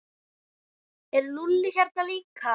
Er Lúlli hérna líka?